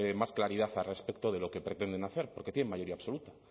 más claridad al respecto de lo que pretenden hacer porque tienen mayoría absoluta